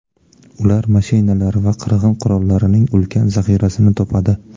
Ular mashinalar va qirg‘in qurollarining ulkan zaxirasini topadi.